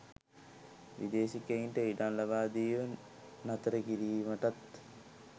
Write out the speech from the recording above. විදේශිකයන්ට ඉඩම් ලබාදීම නතර කිරීමටත්